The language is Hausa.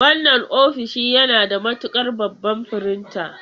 Wannan ofishin yana buƙatar babban firinta.